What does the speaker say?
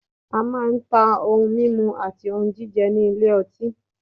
a man ta òun mímu àti jíjẹ ni ile ọti